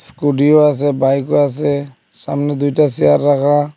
স্কুটিও আছে বাইকও আছে সামনে দুইটা চেয়ার রাখা।